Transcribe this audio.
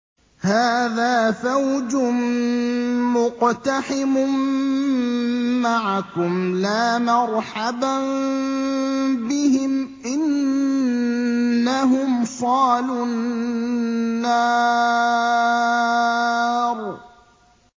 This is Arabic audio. هَٰذَا فَوْجٌ مُّقْتَحِمٌ مَّعَكُمْ ۖ لَا مَرْحَبًا بِهِمْ ۚ إِنَّهُمْ صَالُو النَّارِ